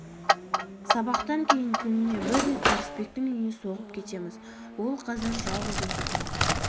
сабақтан кейін күніне бір рет ырысбектің үйіне соғып кетеміз ол қазір жалғыз өзі тұрады